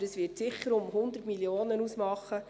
Aber es wird sicher um die 100 Mio. Franken ausmachen.